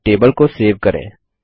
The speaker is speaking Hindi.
अब टेबल को सेव करें